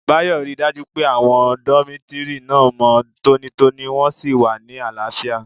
Báyò ríi dájú pé àwọn dómítórì náà mọ́ tónítóní wọ́n sì wà ní àlàáfíà